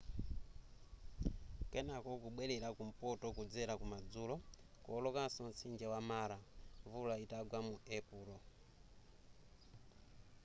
kenako kubwerera kumpoto kudzera kumadzulo kuwolokanso mtsinje wa mara mvula itagwa mu epulo